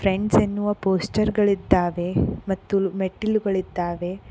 ಪೆಂಚ ಎನ್ನುವ ಪೋಸ್ಛರ್ ಗಳಿದ್ದಾವೆ ಮತ್ತು ಮೆಟ್ಟಿಲುಗಳಿದ್ದಾವೆ.